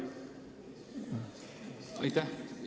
Aitäh!